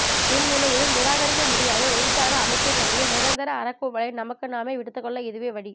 எந்நிலையிலும் நிராகரிக்கமுடியாத எழுத்தாக அமைக்கவேண்டிய நிரந்தர அறைகூவலை நமக்கு நாமே விடுத்துக்கொள்ள இதுவே வழி